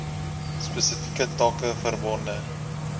spesifieke take verbonde